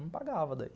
Não pagava daí.